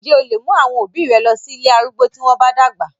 Ǹ jẹ́ o lè mú àwọn òbí rẹ lọ sí ilé arúgbó tí wọ́n bá dàgbà?